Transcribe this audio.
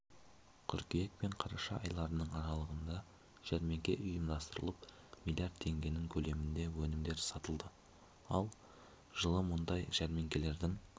қыркүйек пен қараша айларының аралығында жәрмеңке ұйымдастырылып млрд теңгенің көлемінде өнімдер сатылды ал жылы мұндай жәрмеңкелердің